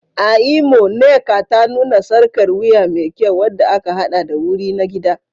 A Imo, Nnekata nuna sarƙar wuya me kyau wadda aka haɗa da wuri na gida.